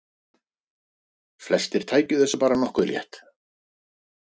Flestir tækju þessu bara nokkuð létt